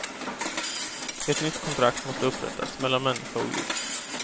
Ett nytt kontrakt måste upprättas, mellan människa och djur.